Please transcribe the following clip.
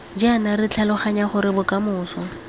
jaana re tlhaloganya gore bokamoso